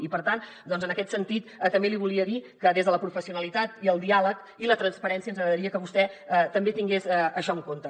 i per tant doncs en aquest sentit també li volia dir que des de la professionalitat el diàleg i la transparència ens agradaria que vostè també tingués això en compte